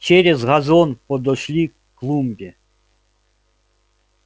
через газон подошли к клумбе